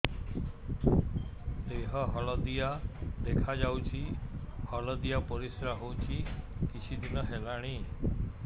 ଦେହ ହଳଦିଆ ଦେଖାଯାଉଛି ହଳଦିଆ ପରିଶ୍ରା ହେଉଛି କିଛିଦିନ ହେଲାଣି